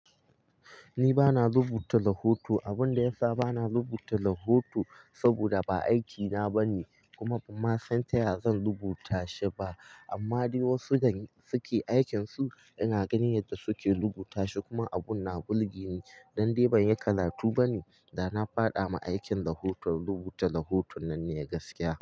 Ni bana rubuta lahoto. Abun da ya sa bana rubuta lahoto saboda ba aikina ba ne, kuma ba ma san taya zan rubuta shi ba. Amma dai wasu da suke aikin su ina ganin yadda suke rubuta shi kuma abun na bulge ni. Dan dai ban yi karatu ba ne, da na faɗa ma aikin rubuta lahoton nan ne gaskiya.